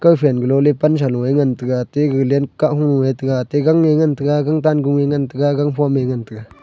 kao phen galo le pansa lo ee ngantaga aate gag len kahung ee tiga aate gang ee ngantaga gangtan gung ee ngantaga gangphom me ngantaga.